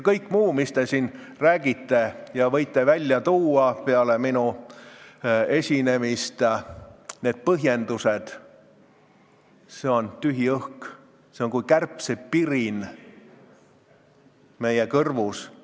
Kõik muu, mis te siin räägite, kõik põhjendused, mida te võite välja tuua peale minu esinemist, on tühi õhk, see on kui kärbsepirin kõrvus.